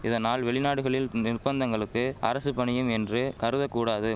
இதனால் வெளிநாடுகளில் நிர்பந்தங்களுக்கு அரசு பணியும் என்று கருதகூடாது